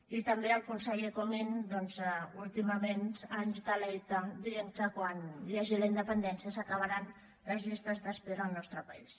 i també el conseller comín doncs últimament ens delecta dient que quan hi hagi la independència s’acabaran les llistes d’espera al nostre país